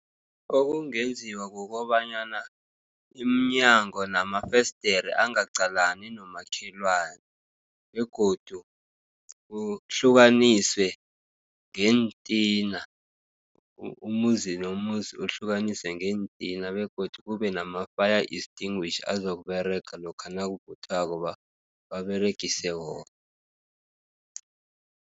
Okungenziwa kukobanyana iminyango namafesidere angaqalani nabomakhelwane, begodu ukuhlukaniswe ngeentina. Umuzi nomuzi uhlukaniswe ngeentina, begodu kubenama-fire extinguisher, azokuberega lokha nakuvuthako baberegise wona.